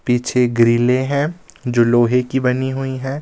पीछे ग्रिले हैं जो लोहे की बनी हुईं हैं।